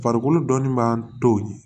Farikolo dɔnni b'an to ye